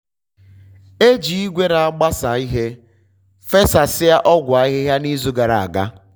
e ji igwe na-agbasa ihe fesasịa ọgwụ ahịhịa n'izu gara aga.